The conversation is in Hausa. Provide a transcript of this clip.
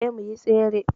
Eh muyi Tsere